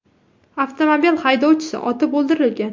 Avtomobil haydovchisi otib o‘ldirilgan.